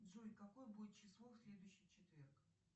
джой какое будет число в следующий четверг